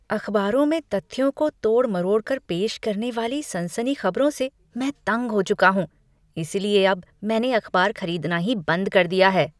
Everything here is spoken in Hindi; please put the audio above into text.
अखबारों में तथ्यों को तोड़ मरोड़ कर पेश करने वाली सनसनीखेज खबरों से मैं तंग हो चुका हूँ, इसलिए अब मैंने अखबार खरीदना ही बंद कर दिया है।